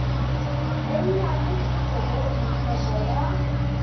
bonyane e fokotše tlhoko ya